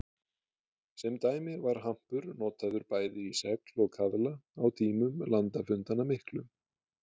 Sem dæmi var hampur notaður bæði í segl og kaðla á tímum landafundanna miklu.